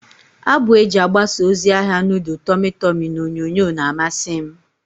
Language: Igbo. Abụ eji agbasa ozi ahia nudul tọmị tọmị n'onyonyo na-amasi m.